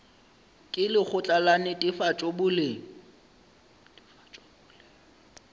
ke lekgotla la netefatšo boleng